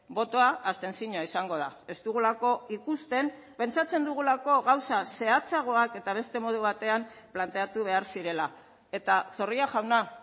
botoa abstentzioa izango da ez dugulako ikusten pentsatzen dugulako gauza zehatzagoak eta beste modu batean planteatu behar zirela eta zorrilla jauna